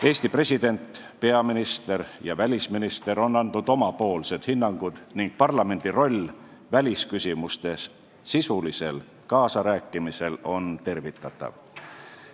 Eesti president, peaminister ja välisminister on andnud oma hinnangud ning parlamendi roll välisküsimustes sisulisel kaasarääkimisel on tervitatav.